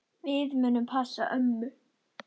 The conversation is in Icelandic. Við munum passa ömmu.